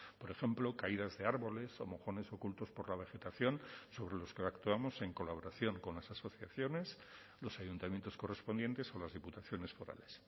por ejemplo caídas de árboles o mojones ocultos por la vegetación sobre los que actuamos en colaboración con las asociaciones los ayuntamientos correspondientes o las diputaciones forales